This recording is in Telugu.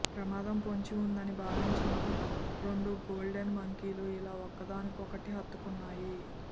ప్రమాదం పొంచి ఉందని భావించిన రెండు గోల్డెన్ మంకీలు ఇలా ఒకటినొకటి హత్తుకున్నాయి